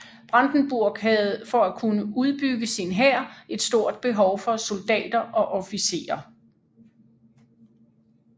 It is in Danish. Brandenburg havde for at kunne udbygge sin hær et stort behov for soldatter og officerer